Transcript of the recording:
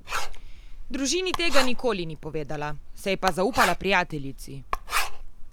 Družini tega nikoli ni povedala, se pa je zaupala prijateljici.